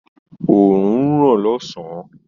Òrùn ń ràn lósàn-án.